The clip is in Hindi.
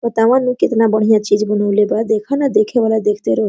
बतावा नु कितना बढ़िया चीज़ बनाऊ ले बा देख न देखे वाला देखते रह--